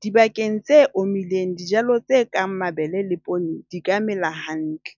dibakeng tse omileng dijalo tse kang mabele le poone di ka mela hantle.